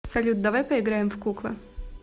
салют давай поиграем в куклы